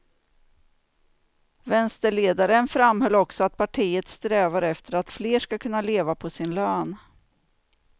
Vänsterledaren framhöll också att partiet strävar efter att fler ska kunna leva på sin lön.